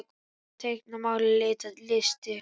Föndra- teikna- mála- lita- listir